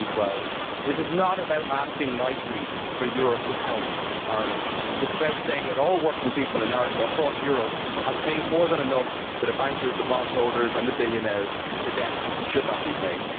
2012? This is not about asking nicely for Europe to help Ireland it is about saying that all working people across Europe have paid more than enough to the bankers, the bondholders and the billionaires. The debt should not be paid.